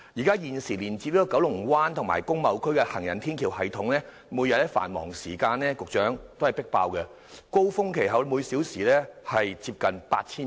局長，現時連接九龍灣和工貿區的行人天橋系統每天在繁忙時間均"迫爆"，高峰期每小時有接近8000人。